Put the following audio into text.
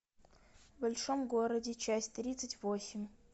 в большом городе часть тридцать восемь